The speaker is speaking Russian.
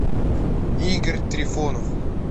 игорь трифонов